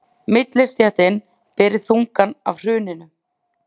Millistéttin beri þungann af hruninu